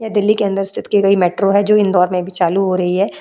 ये दिल्ली के अंदर स्थित की गई मेट्रो है जो इंदौर में भी चालू हो रही है।